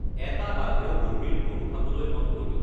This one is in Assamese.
এটা বাঘেও বুঢ়ীৰ গৰু খাবলৈ মন কৰি